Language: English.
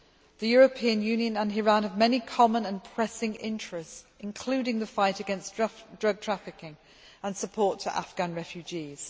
The European Union and Iran have many common and pressing interests, including the fight against drug trafficking and support to Afghan refugees.